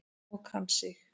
Og kann sig.